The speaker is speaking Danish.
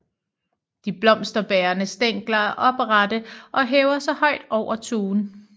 De blomsterbærende stængler er oprette og hæver sig højt over tuen